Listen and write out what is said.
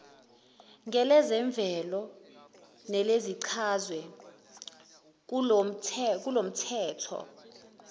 ngelezemvelo nelichazwe kulomthetho